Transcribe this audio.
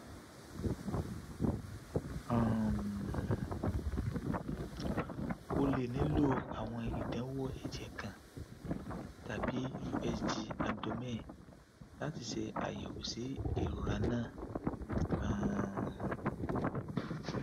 um o le nilo awọn idanwo ẹjẹ kan tabi usg abdomen lati ṣe ayẹwo si irora naa um